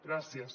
gràcies